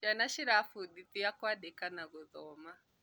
Ciana cĩrafũndithia kũandĩka na gũthoma